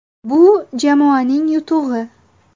Bu jamoaning yutug‘i.